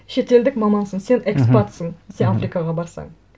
шетелдік мамансың сен экспатсың сен африкаға барсаң